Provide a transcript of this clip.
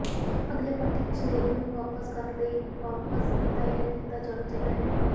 ਅੱਗੇ ਪੱਟੀ ਪਿਛਲੇ ਇੱਕ ਨੂੰ ਵਾਪਸ ਕਰਨ ਲਈ ਵਾਪਸ ਬਿਤਾਇਆ ਕੀਤਾ ਜਾਣਾ ਚਾਹੀਦਾ ਹੈ